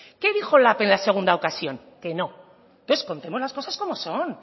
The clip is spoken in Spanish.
qué dijo lab en la segunda ocasión que no entonces contemos las cosas como son